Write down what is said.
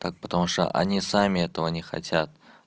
так потому что они сами этого не хотят